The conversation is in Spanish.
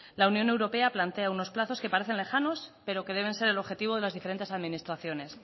la unión europea plantea unos plazos que parecen lejanos pero que deben ser el objetivo de las diferentes administraciones